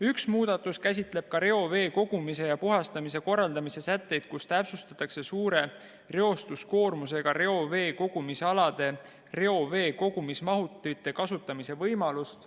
Üks muudatus käsitleb ka reovee kogumise ja puhastamise korraldamise sätteid, kus täpsustatakse suure reostuskoormusega reoveekogumisaladel reoveekogumismahutite kasutamise võimalust.